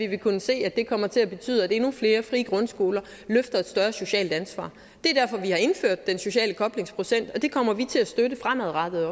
vil kunne se at det kommer til at betyde at endnu flere frie grundskoler løfter et større socialt ansvar det er derfor vi har indført den sociale koblingsprocent og det kommer vi til at støtte fremadrettet